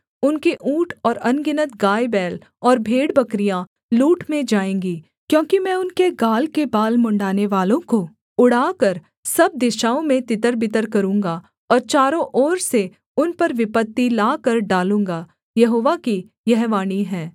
उनके ऊँट और अनगिनत गायबैल और भेड़बकरियाँ लूट में जाएँगी क्योंकि मैं उनके गाल के बाल मुँण्ड़ानेवालों को उड़ाकर सब दिशाओं में तितरबितर करूँगा और चारों ओर से उन पर विपत्ति लाकर डालूँगा यहोवा की यह वाणी है